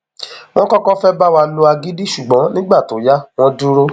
wọn kọkọ fẹẹ bá wa lo agídí ṣùgbọn nígbà tó yá wọn dúró